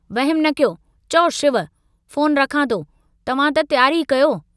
वहमु न कयो, चओ शिव, फोन रखां थो, तव्हां त तियारी कयो।